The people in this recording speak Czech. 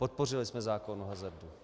Podpořili jsme zákon o hazardu.